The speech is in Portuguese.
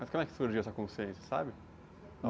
Mas como é que surgiu essa consciência, você sabe?